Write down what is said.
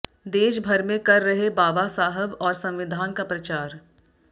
देश भर में कर रहे बाबा साहब और संविधान का प्रचार